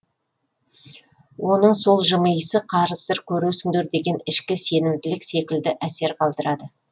оның сол жымиысы қазір көресіңдер деген ішкі сенімділік секілді әсер қалдырады